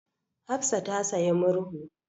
Hafsa ta sayi murhu.